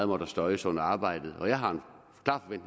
må støjes under arbejdet jeg har